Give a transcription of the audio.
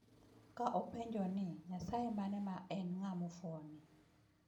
Ka openjo ni "Nyasaye mane ma en ng'ama fuwo ni?